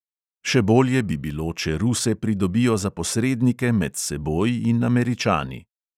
Še bolje bi bilo, če ruse pridobijo za posrednike med seboj in američani.